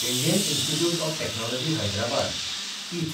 Indian institute of technology Hyderabad (इथ)